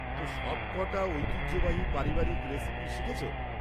তো, সবকটা ঐতিহ্যবাহী পারিবারিক রেসিপি শিখেছ?